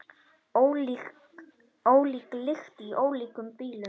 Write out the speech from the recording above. Ólík lykt í ólíkum bílum!